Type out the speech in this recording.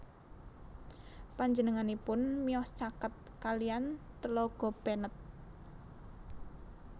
Panjenenganipun miyos caket kaliyan Tlaga Bennett